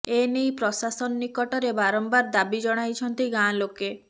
ଏନେଇ ପ୍ରଶାସନ ନିକଟରେ ବାରମ୍ବାର ଦାବି ଜଣାଇଛନ୍ତି ଗାଁ ଲୋକେ